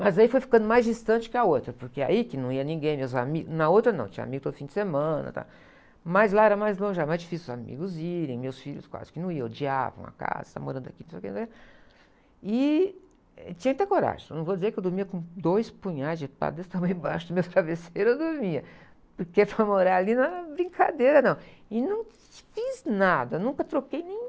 Mas aí foi ficando mais distante que a outra, porque aí que não ia ninguém, meus amigos, na outra não, tinha amigos todo fim de semana, tal, mas lá era mais longe, era mais difícil os amigos irem, meus filhos quase que não iam, odiavam a casa, morando aqui, não sei o quê. E, eh, tinha que ter coragem, não vou dizer que eu dormia com dois punhais de desse tamanho, embaixo dos meus travesseiros, eu dormia, porque para morar ali não era brincadeira, não, e não fiz nada, nunca troquei nem...